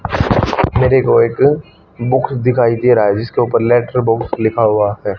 मेरे को एक बुक दिखाई दे रहा है जिसके ऊपर लेटर बॉक्स लिखा हुआ है।